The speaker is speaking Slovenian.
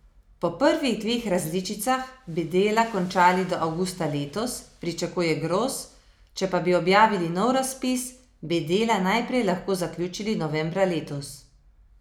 Po prvih dveh različicah bi dela končali do avgusta letos, pričakuje Gros, če pa bi objavili nov razpis bi dela najprej lahko zaključili novembra letos.